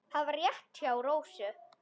Það var rétt hjá Rósu.